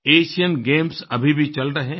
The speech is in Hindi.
एशियन गेम्स अभी भी चल रहे हैं